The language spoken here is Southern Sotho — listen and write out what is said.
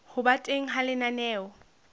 ho ba teng ha lenaneo